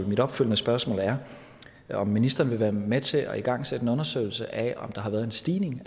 mit opfølgende spørgsmål er om ministeren vil være med til at igangsætte en undersøgelse af om der har været en stigning